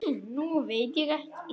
Nú veit ég ekki.